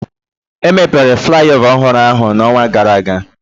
Emepere flaiova ọhụrụ ahu n'ọnwa gara aga.